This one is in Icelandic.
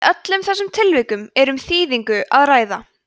í öllum þessum tilvikum er um þýðingu að ræða